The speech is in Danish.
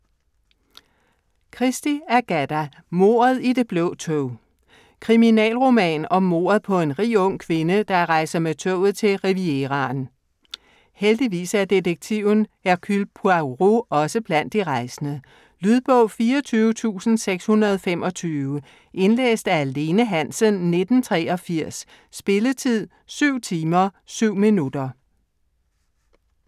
Christie, Agatha: Mordet i det blå tog Kriminalroman om mordet på en rig ung kvinde, der rejser med toget til Rivieraen. Heldigvis er detektiven Hercule Poirot også blandt de rejsende. Lydbog 24625 Indlæst af Lene Hansen, 1983. Spilletid: 7 timer, 7 minutter.